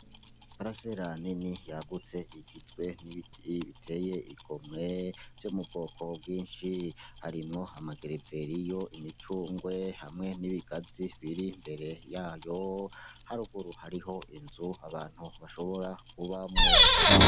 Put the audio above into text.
Iparasera nini yagutse igizwe n'ibiti biteye igomwe, vyo mu bwoko bwinshi, harimwo amagereveriyo, imicungwe hamwe n'ibigazi biri imbere yayo, haruguru hariho inzu abantu bashobora kubamwo.